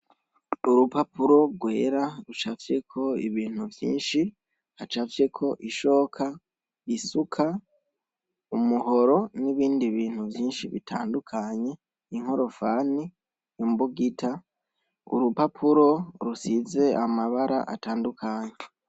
Urupapuro rwera rucafyeko ibintu vyinshi hacafyeko ishoka isuka umuhoro nibindi bintu vyinshi bitandukanye inkorofani imbugita urupapuro rusize amabara atandukanye